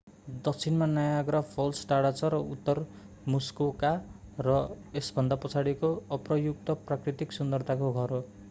दक्षिणमा Niagara Falls टाढा छ र उत्तर मुस्कोका र यसभन्दा पछाडिको अप्रयुक्त प्राकृतिक सुन्दरताको घर हो